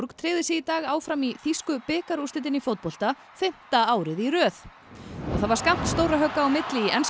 tryggði sig í dag áfram í þýsku bikarúrslitin í fótbolta fimmta árið í röð og það var skammt stórra högga á milli í enska